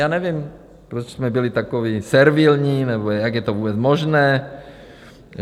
Já nevím, proč jsme byli takoví servilní, nebo jak je to vůbec možné?